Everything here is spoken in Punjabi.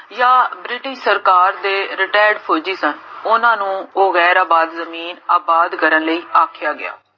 ਯਾ british ਸਰਕਾਰ ਤੇ retired ਫੋਜੀ ਸਨ